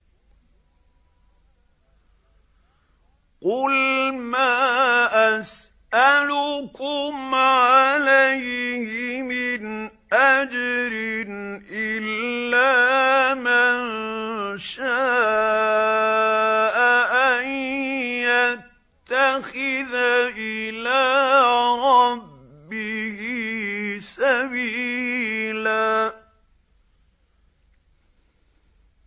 قُلْ مَا أَسْأَلُكُمْ عَلَيْهِ مِنْ أَجْرٍ إِلَّا مَن شَاءَ أَن يَتَّخِذَ إِلَىٰ رَبِّهِ سَبِيلًا